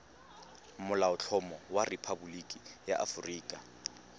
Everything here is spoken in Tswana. molaotlhomo wa rephaboliki ya aforika